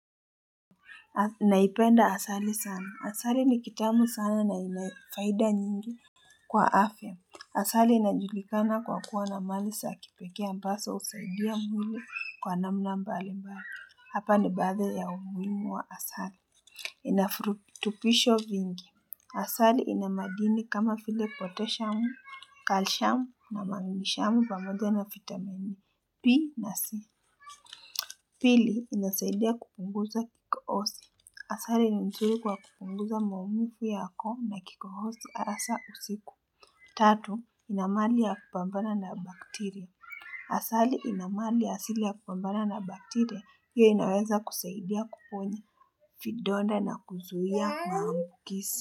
Naipenda asali sana. Asali ni kitamu sana na ina faida nyingi. Kwa afya, asali inajulikana kwa kuwa na mali za kipekee ambazo husaidia mwili kwa namna mbali mbali. Hapa ni baadhi ya umuhimu wa asali. Ina virutubisho vingi. Asali ina madini kama vile poteshamu, kalshamu na manginishamu pamoja na vittamini. B na C. Pili inasaidia kupunguza kikohozi. Asali ni mzuri kwa kupunguza maumivu ya koo na kikohozi hasa usiku. Tatu, ina mali ya kupambana na bakteria. Asali, ina mali ya asili ya kupambana na bakteria, hiyo inaweza kusaidia kuponya, vidonda na kuzuhia maambukizi.